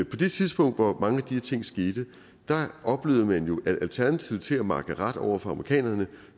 på det tidspunkt hvor mange af de her ting skete oplevede man jo at alternativet til at makke ret over for amerikanerne